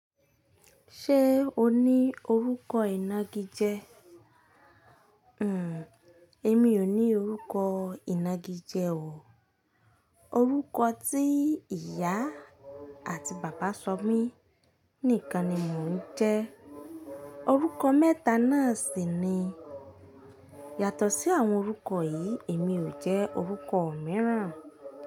Ṣé o ní orúkọ ìnagijẹ? Èmi ò ní orúkọ ìnagijẹ o. Orúkọ tí ìyá àti bàbá sọ mí nìkan ni mò ń jẹ́. Orúkọ mẹ́ta náà sì ni. Yàtọ̀ sí àwọn orúkọ yìí, èmi ò jẹ́ orúkọ mìíràn.